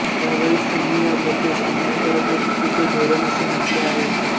या वेळेस त्यांनी या प्रथेस अन्यायकारक व चुकीचे धोरण असे म्हटले